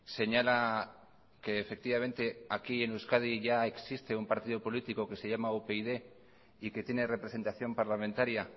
señala que efectivamente aquí en euskadi ya existe un partido político que se llama upyd y que tiene representación parlamentaria